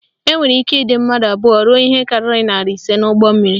Enwere ike ịdị mmadụ abụọ ruo ihe karịrị narị ise n'ụgbọmmiri